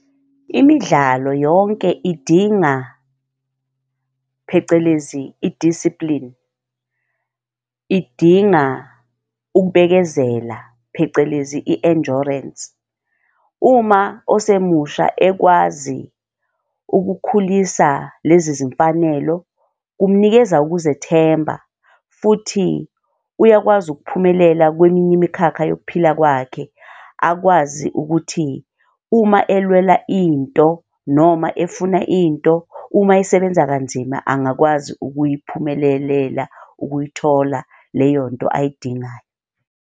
Imidlalo yonke idinga phecelezi i-discipline, idinga ukubekezela phecelezi i-endurance. Uma osemusha ekwazi ukukhulisa lezi zimfanelo, kumnikeza ukuzethemba futhi uyakwazi ukuphumelela kweminye imikhakha yokuphila kwakhe akwazi ukuthi, uma elwela into, noma efuna into, uma esebenza kanzima angakwazi ukuyiphumelelela ukuyithola leyo nto ayidingayo.